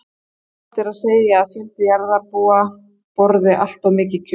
Óhætt er því að segja að fjöldi jarðarbúa borði allt of mikið kjöt.